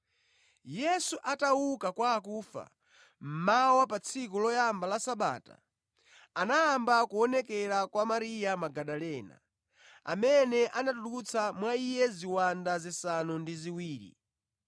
Yesu atauka kwa akufa mmawa pa tsiku loyamba la Sabata, anayamba kuonekera kwa Mariya Magadalena, amene anatulutsa mwa iye ziwanda zisanu ndi ziwiri.